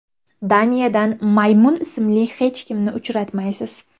Daniyadan Maymun ismli hech kimni uchratmaysiz.